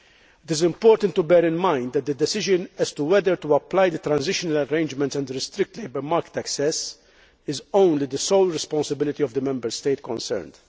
It is important to bear in mind that the decision as to whether to apply the transitional arrangements and restrict labour market access is the sole responsibility of the Member State concerned.